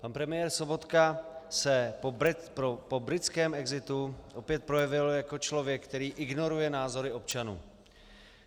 Pan premiér Sobotka se po britském exitu opět projevil jako člověk, který ignoruje názory občanů.